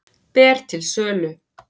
Ber til sölu